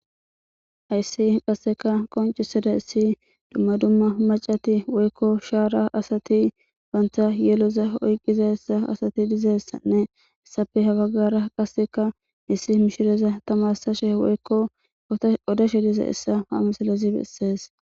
Hayssi qasseka qonciseda issi dumma dumma macati woykko shaara asati bantha yeloza oyqqiza essa asati dizassanne essafe habagara qasseka missi mishireza tamasashe woykko todashe diza hessa ha masalazi bessees.